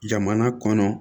Jamana kɔnɔ